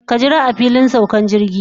Ka jira a filin saukan jirgi.